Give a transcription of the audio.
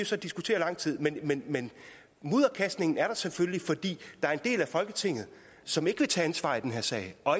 så diskutere i lang tid men men mudderkastningen er der selvfølgelig fordi der er en del af folketinget som ikke vil tage ansvar i den her sag og